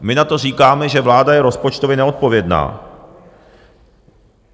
My na to říkáme, že vláda je rozpočtově neodpovědná.